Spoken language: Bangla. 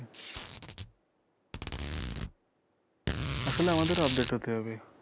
আসলে আমাদেরও update হতে হবে